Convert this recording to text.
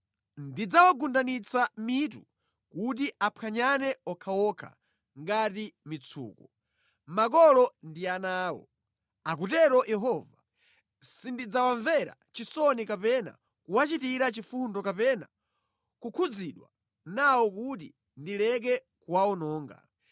Ndidzawagundanitsa mitu kuti aphwanyane okhaokha ngati mitsuko, makolo ndi ana awo, akutero Yehova. Sindidzawamvera chisoni kapena kuwachitira chifundo kapena kukhudzidwa nawo kuti ndileke kuwawononga.’ ”